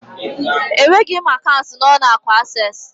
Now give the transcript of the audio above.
Enweghị m akaụntụ n'ụlọ akụ Asés